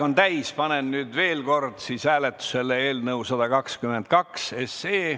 Panen veel kord hääletusele eelnõu 122.